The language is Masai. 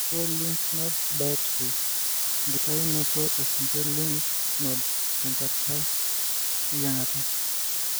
Sentinel lymph node biopsy:enkitayiunoto e sentinel lymph node tenkata eyiangata.